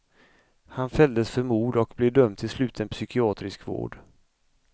Han fälldes för mord och blev dömd till sluten psykiatrisk vård.